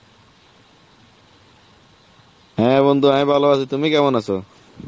হ্যাঁ বন্ধু, আমি ভালো আছি, তুমি কেমন আছো?